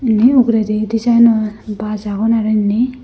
ini uguredi deejinor baj agon araw inni.